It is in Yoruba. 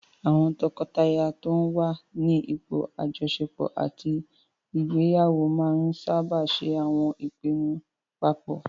Àwọn tọkọtaya tó n wà ní ipò àjọṣepọ̀ àti ìgbéyàwó máa n sáábà ṣe àwọn ìpinnu paapọ̀